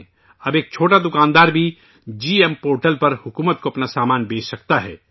اب چھوٹے دکاندار بھی جی ای ایم پورٹل پر حکومت کو اپنا سامان بیچ سکتے ہیں